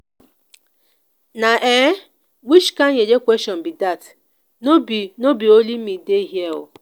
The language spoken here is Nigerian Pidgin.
na um which kin yeye question be dat? no be no be only me dey here oo